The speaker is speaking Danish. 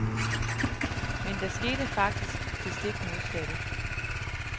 Men der skete faktisk det stik modsatte.